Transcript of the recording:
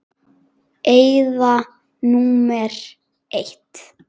Eyða númer eitt.